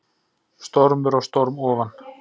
Stormur á storm ofan